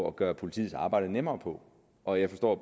at gøre politiets arbejde nemmere på og jeg forstår